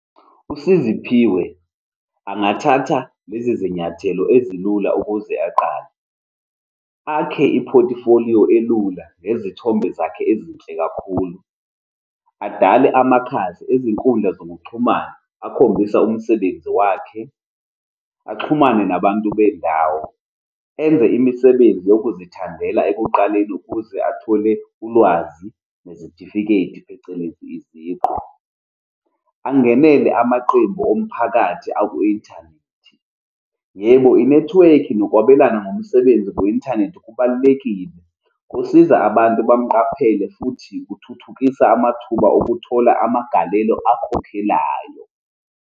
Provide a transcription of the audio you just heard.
USiziphiwe angathatha lezi zinyathelo ezilula ukuze aqale, akhe i-portfolio elula nezithombe zakhe ezinhle kakhulu, adale amakhasi ezinkundla zokuxhumana akhombisa umsebenzi wakhe, axhumane nabantu bendawo, enze imisebenzi yokuzithandela ekuqaleni ukuze athole ulwazi nezitifiketi, phecelezi iziqu, angenele amaqembu omphakathi aku-inthanethi. Yebo, inethiwekhi nokwabelana ngomsebenzi kwi-inthanethi kubalulekile, kusiza abantu bamuqaphele, futhi kuthuthukisa amathuba okuthola amagalelo akhokhelayo.